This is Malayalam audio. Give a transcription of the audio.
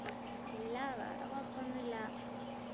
ഇല്ല. വേറെ കൊഴപ്പോന്നുല്ലാ.